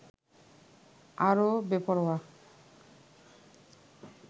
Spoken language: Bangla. আরও বেপরোয়া